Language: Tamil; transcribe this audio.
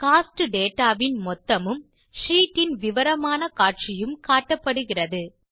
கோஸ்ட் டேட்டா வின் மொத்தமும் ஷீட் இன் விவரமான காட்சியும் காட்டப்படுகிறது